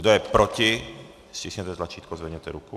Kdo je proti, stiskněte tlačítko a zvedněte ruku.